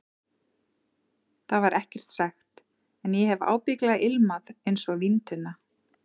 Það var ekkert sagt, en ég hef ábyggilega ilmað einsog víntunna.